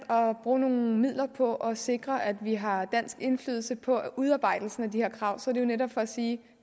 bruge nogle midler på at sikre at vi har dansk indflydelse på udarbejdelsen af de her krav er det netop for at sige at